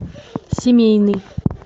семейный